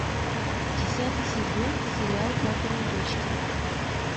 десятый сезон сериал папины дочки